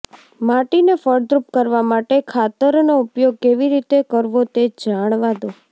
માટીને ફળદ્રુપ કરવા માટે ખાતરનો ઉપયોગ કેવી રીતે કરવો તે જાણવા દો